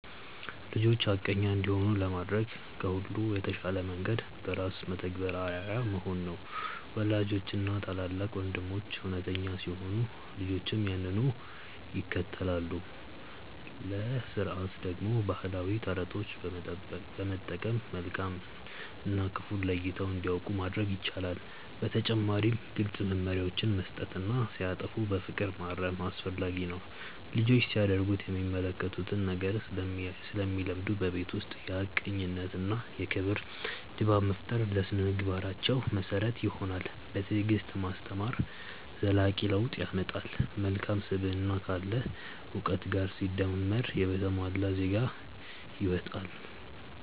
ልጆች ሐቀኛ እንዲሆኑ ለማድረግ ከሁሉ የተሻለው መንገድ በራስ ተግባር አርአያ መሆን ነው። ወላጆችና ታላላቅ ወንድሞች እውነተኛ ሲሆኑ ልጆችም ያንኑ ይከተላሉ። ለሥርዓት ደግሞ ባህላዊ ተረቶችን በመጠቀም መልካም እና ክፉን ለይተው እንዲያውቁ ማድረግ ይቻላል። በተጨማሪም ግልጽ መመሪያዎችን መስጠትና ሲያጠፉ በፍቅር ማረም አስፈላጊ ነው። ልጆች ሲያደርጉት የሚመለከቱትን ነገር ስለሚለምዱ፣ በቤት ውስጥ የሐቀኝነትና የክብር ድባብ መፍጠር ለሥነ-ምግባራቸው መሰረት ይሆናል። በትዕግስት ማስተማር ዘላቂ ለውጥ ያመጣል። መልካም ስብዕና ካለ እውቀት ጋር ሲደመር የተሟላ ዜጋ ይወጣል።